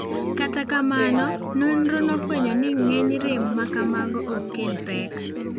Kata kamano, nonrono nofwenyo ni ng'eny rem ma kamago ok kel pek.